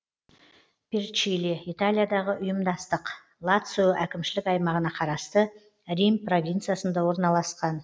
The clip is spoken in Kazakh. перчиле италиядағы ұйымдастық лацио әкімшілік аймағына қарасты рим провинциясында орналасқан